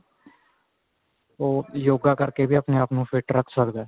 ਉਹ yoga ਕਰਕੇ ਵੀ ਆਪਣੇ ਆਪ ਨੂੰ fit ਰੱਖ ਸਕਦੇ